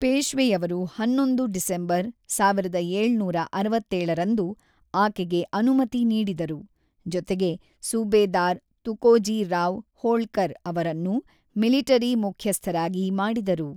ಪೇಶ್ವೆಯವರು ಹನ್ನೊಂದು ಡಿಸೆಂಬರ್ ಸಾವಿರದ ಏಳುನೂರ ಅರವತ್ತೇಳು ರಂದು ಆಕೆಗೆ ಅನುಮತಿ ನೀಡಿದರು, ಜೊತೆಗೆ ಸುಭೇದಾರ್ ತುಕೋಜಿ ರಾವ್ ಹೋಳ್ಕರ್ ಅವರನ್ನು ಮಿಲಿಟರಿ ಮುಖ್ಯಸ್ಥರಾಗಿ ಮಾಡಿದರು.